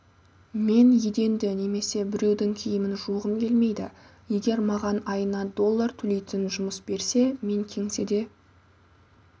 мен еденді немесе біреудің киімін жуғым келмейді егер маған айына доллар төлейтін жұмыс берсе мен кеңседе